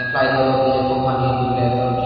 flitedo yeh company brando .